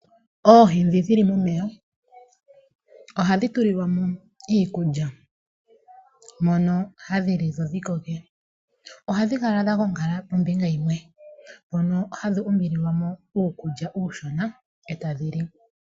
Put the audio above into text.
Oohi ndhi dhi li momeya ohadhi tulilwa mo iikulya mbyono hadhi li dho dhi koke. Ohadhi kala dha gongala pombinga yimwe mpono hadhi umbililwa po uukulya uushona, e tadhi li.